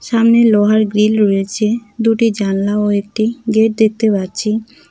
সামনে লোহার গ্রিল রয়েছে দুটি জালনা ও একটি গেট দেখতে পাচ্ছি।